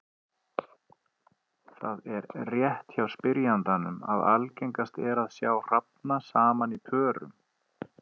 Rétt er það hjá spyrjandanum að algengast er að sjá hrafna saman í pörum.